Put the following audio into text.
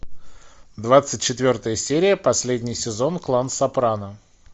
двадцать четвертая серия последний сезон клан сопрано